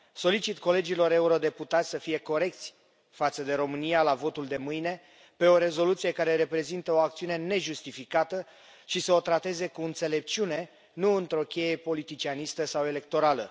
Solicit colegilor eurodeputați să fie corecți față de România la votul de mâine pe o rezoluție care reprezintă o acțiune nejustificată și să o trateze cu înțelepciune, nu într o cheie politicianistă sau electorală.